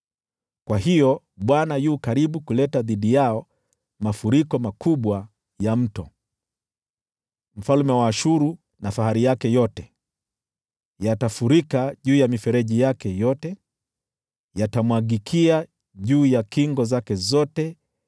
kwa hiyo Bwana yu karibu kuleta dhidi yao mafuriko makubwa ya Mto: yaani mfalme wa Ashuru na fahari yake yote. Yatafurika juu ya mifereji yake yote, yatamwagikia juu ya kingo zake zote,